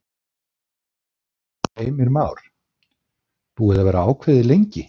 Heimir Már: Búið að vera ákveðið lengi?